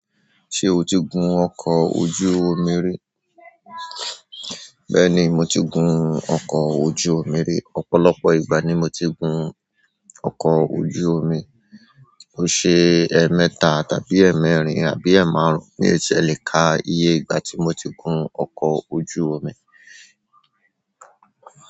Ṣé o ti gun ọkọ̀ ojú omi rí? Bẹ́ẹ̀ni, mo ti gun ọkọ̀ ojú omi rí. Ọ̀pọ̀lọpọ̀ ìgbà ni mo ti gun ọkọ̀ ojú omi. Ó ṣe ẹ́ mẹ́ta tàbí ẹ́ mẹ́rin àbí ẹ́ márùn-ún mi ti e lè ka iye ìgbà tí mo ti gun ọkọ̀ ojú omi.